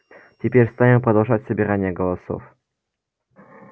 теперь станем продолжать собирание голосов